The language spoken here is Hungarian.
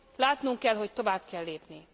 Látnunk kell, hogy tovább kell lépni.